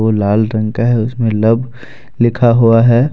लाल रंग का है उसमें लव लिखा हुआ है।